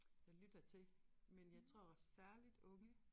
Der lytter til men jeg tror særligt unge